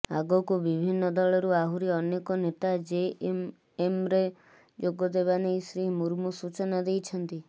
ଆଗକୁ ବିଭିନ୍ନ ଦଳରୁ ଆହୁରି ଅନେକ ନେତା ଜେଏମ୍ଏମ୍ରେ ଯୋଗଦେବା ନେଇ ଶ୍ରୀ ମୁର୍ମୁ ସୂଚନା ଦେଇଛନ୍ତି